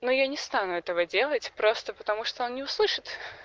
но я не стану этого делать просто потому что он не услышит